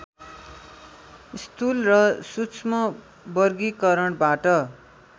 स्थूल र सूक्ष्म वर्गीकरणबाट